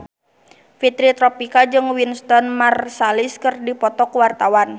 Fitri Tropika jeung Wynton Marsalis keur dipoto ku wartawan